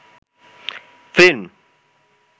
film